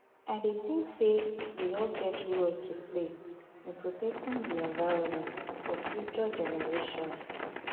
I dey think say we all get role to play in protecting di environment for future generations.